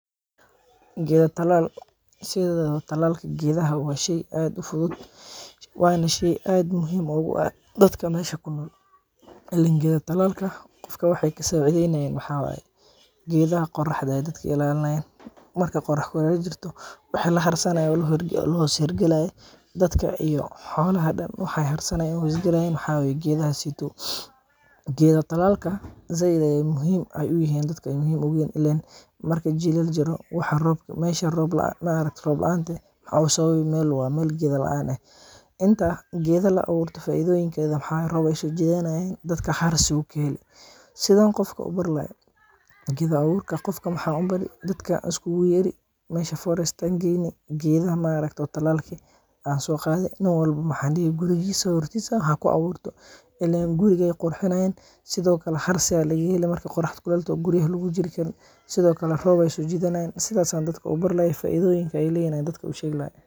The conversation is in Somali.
Geeda talaal, sideedaba talaalka geedaha waa sheey aad ufudud, waana sheey aad muhiim oogu ah dadka meesha kunool, geeda talaalka qofka waxeey kasaacidey nayaan waxaa waye, geedaha qoraxda ayeey dadka ka ilaalinaayan, marka qorax kuleel jirto waxa laharsanaay oo lahoos hergalaay dadka iyo xoolaha dan waxeey hoos hergalaayan waxaa waye geedaha as, geeda talaalka sait ayeey dadka muhiim oogu yihiin ileen marki jilaal uu jiro meesha roob laanta ah waxaa usabab ah waxaa yeele waa meel geeda laan ah, geeda la abuurto faidoyinkeeda waxaa waye roob ayeey soo jidanaayin, siduu qofka u abuuri waye, geeda abuurka dadka waxaad ubari dadka waad iskuugu yeeri, meesha forest ayaan geeyni, geedaha talaalka eh ayaan soo qaadi, nin walbo waxaan dihi gurigiisa hortiisa haku abuurto, ileen guriga ayeey qurxinaayan sido kale harsi ayaa laga heli markeey qorax kuleel toho oo guryaha lagu jiri Karin, sido kale roob ayeey soo jiidani, sidaas ayaan dadka ubari lahaay, faidoyinka aay leeyihiin ayaan dadka usheegi lahaay.